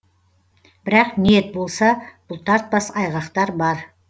бірақ ниет болса бұлтартпас айғақтар бар